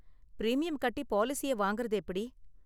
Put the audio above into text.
Premium கட்டி பாலிசிய வாங்கறது எப்படி?